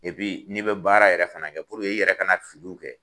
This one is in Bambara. n'i bɛ baara yɛrɛ fana kɛ puruke i yɛrɛ ka filiw kɛ